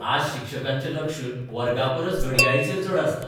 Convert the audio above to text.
आज शिक्षकांचें लक्ष वर्गापरस घडयाळीचेर चड आसता.